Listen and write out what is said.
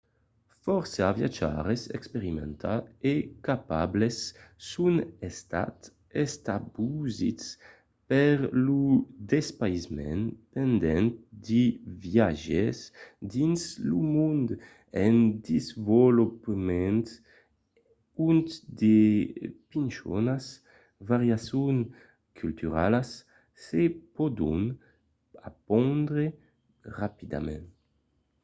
fòrça viatjaires experimentats e capables son estats estabosits per lo despaïsament pendent de viatges dins lo mond en desvolopament ont de pichonas variacions culturalas se pòdon apondre rapidament